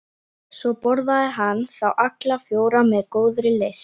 Svo borðaði hann þá alla fjóra með góðri lyst.